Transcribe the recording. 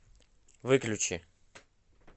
выключи